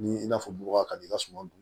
Ni i n'a fɔ bubaga ka di i ka suman